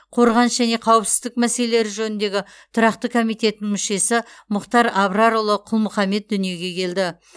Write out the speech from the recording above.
қорғаныс және қауіпсіздік мәселелері жөніндегі тұрақты комитетінің мүшесі мұхтар абрарұлы құл мұхаммед дүниеге келді